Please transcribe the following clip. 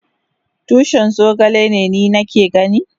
Tushin zogale ne ni ke gani?